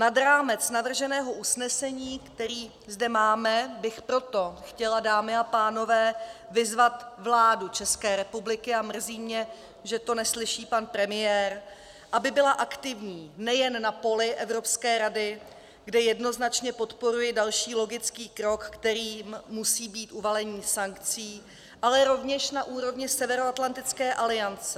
Nad rámec navrženého usnesení, které zde máme, bych proto chtěla, dámy a pánové, vyzvat vládu České republiky, a mrzí mě, že to neslyší pan premiér, aby byla aktivní nejen na poli Evropské rady, kde jednoznačně podporuji další logický krok, kterým musí být uvalení sankcí, ale rovněž na úrovni Severoatlantické aliance.